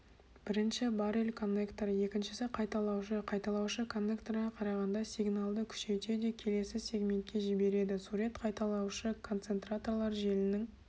біріншісі баррель коннекторы екіншісі қайталаушы қайталаушы коннекторға қарағанда сигналды күшейтеде келесі сегментке жібереді сурет қайталаушы концентраторлар желінің